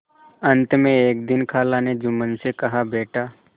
अंत में एक दिन खाला ने जुम्मन से कहाबेटा